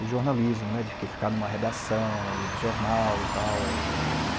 o jornalismo né, de que ficar em uma redação de jornal e tal.